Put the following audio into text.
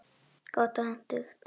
Hentugt og gott.